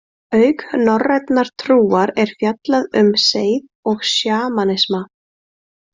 Auk norrænnar trúar er fjallað um seið og sjamanisma.